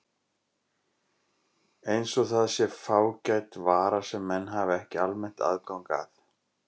Eins og það sé fágæt vara sem menn hafi ekki almennt aðgang að.